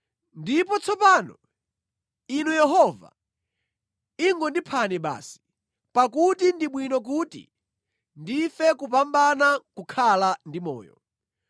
Ndipo tsopano, Inu Yehova, ingondiphani basi, pakuti ndi bwino kuti ndife kupambana nʼkukhala ndi moyo.”